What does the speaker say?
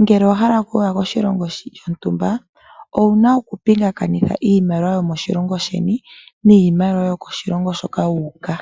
Ngele owa hala oku koshilongo sho ntumba . Owuna oku pingakanitha iimaliwa yomoshilongo sheni niimaliwa yokoshilongo shoka wuuka.